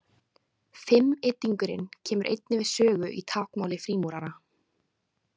Fimmyddingurinn kemur einnig við sögu í táknmáli frímúrara.